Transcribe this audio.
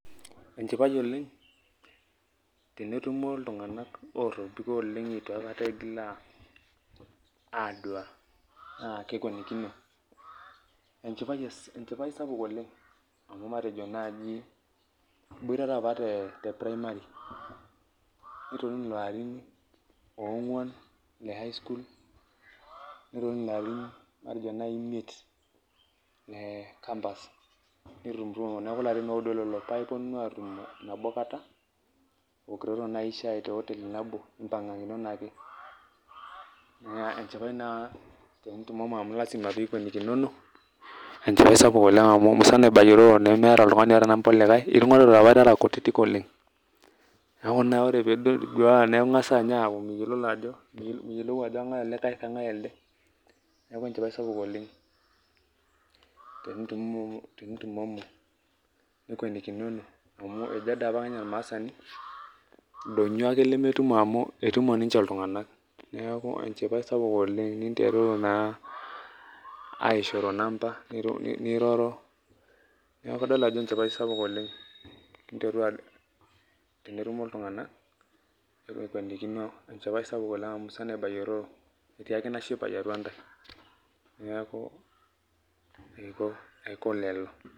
Enchipai oleng tenetumo iltung'ana ootobiko oleng' eitu aikata eigil aduaa aa kekuenikino, enchipai sapuk oleng' amuu matejo naaji iboitata apa te primary nitonini ilarin oong'wan, le highschool nitonini larin matejo naai imiet le campus neeku Larin oudo lelo paa ipuonunu atumo nabo kata iwokitoto naaji shai te hoteli nabo, nipangakinono ake, naa enchipai sapuk oleng' amuu ikwenikino amu musana ibayiororo nemeeta oltung'ani oota number olikae, itung'warote apa irara kutiti oleng', neeku ore duoo piduaa naa ing'asing'asa aaku miyiolou ajo kigae olikae kegae elde, neeku enchipai sapuk oleng tenitumomo nikwenikikono amu ejo apake ormaasani ildoinyio ake lemetumo amuu etumo ninche iltungana neeku enchipai sapuk ninteruru naaa aishoro number niroro, neeku kadol ajo enchipai sapuk oleng' tenetumo iltung'ana tenekwenikino enchipai sapuk oleng' amuu musana ibayiororo etii ake ina shipae atua ntae neeku aiko lelo.